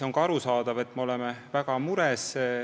On arusaadav, et me oleme väga mures.